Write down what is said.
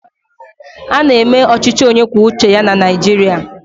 Ána eme ọchịchị onye kwuo uche ya na Naịjirịa